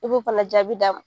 I b'o fana jaabi d'a ma.